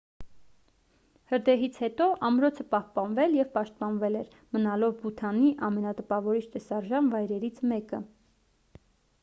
հրդեհից հետո ամրոցը պահպանվել և պաշտպանվել էր մնալով բութանի ամենատպավորիչ տեսարժան վայրերից մեկը